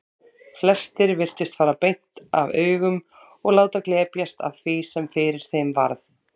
Flestir virtust fara beint af augum og láta glepjast af því sem fyrir þeim varð.